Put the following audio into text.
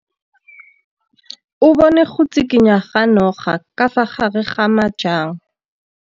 O bone go tshikinya ga noga ka fa gare ga majang.